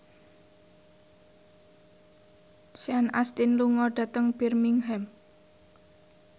Sean Astin lunga dhateng Birmingham